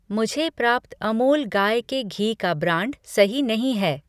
मुझे प्राप्त अमूल गाय के घी का ब्रांड सही नहीं है।